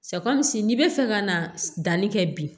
n'i bɛ fɛ ka na danni kɛ bi